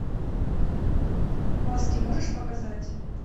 маски можешь показать